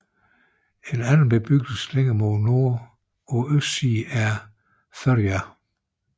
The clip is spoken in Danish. En anden bebyggelse længere mod nord på østsiden er Forøya